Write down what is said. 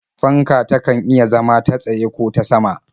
Fanka takan iya zama ta tsaye ko ta sama.